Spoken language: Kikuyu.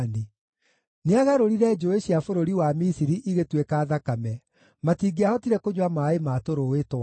Nĩagarũrire njũũĩ cia bũrũri wa Misiri igĩtuĩka thakame; matingĩahotire kũnyua maaĩ ma tũrũũĩ twao.